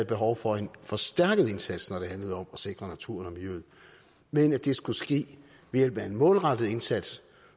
behov for en forstærket indsats når det handlede om at sikre naturen og miljøet men at det skulle ske ved hjælp af en målrettet indsats